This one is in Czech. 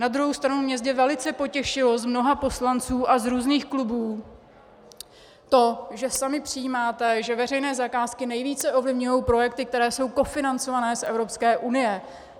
Na druhou stranu mě zde velice potěšilo od mnoha poslanců a z různých klubů to, že sami přijímáte, že veřejné zakázky nejvíce ovlivňují projekty, které jsou kofinancované z Evropské unie.